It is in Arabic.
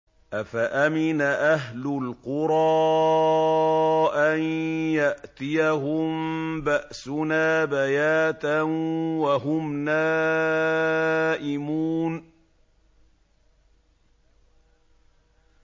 أَفَأَمِنَ أَهْلُ الْقُرَىٰ أَن يَأْتِيَهُم بَأْسُنَا بَيَاتًا وَهُمْ نَائِمُونَ